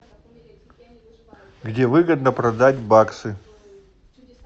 где выгодно продать баксы